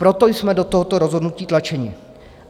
Proto jsme do tohoto rozhodnutí tlačeni.